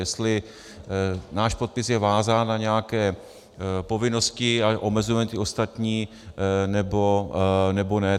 Jestli náš podpis je vázán na nějaké povinnosti a omezujeme ty ostatní, nebo ne.